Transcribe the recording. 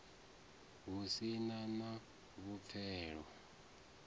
hu si na na vhupfelo